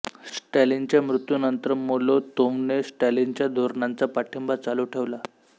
स्टॅलिनच्या मृत्यूनंतर मोलोतोव्हने स्टॅलिनच्या धोरणांचा पाठिंबा चालू ठेवला